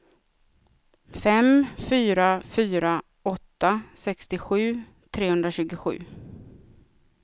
fem fyra fyra åtta sextiosju trehundratjugosju